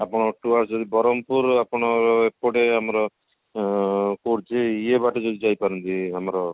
ଆପଣ ଏଠୁ ଆସିବେ ବରହମପୁର ଆପଣ ଏପଟେ ଆମର ଆଁ ପଡୁଛି ଇଏ ବାଟେ ଯଦି ଯାଇପାରିବେ ଆମର